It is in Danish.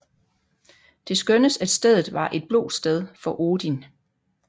Det skønnes at stedet var et blotsted for Odin